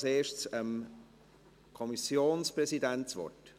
Ich gebe als Erstes dem Kommissionspräsidenten das Wort.